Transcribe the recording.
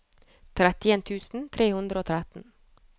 trettien tusen tre hundre og tretten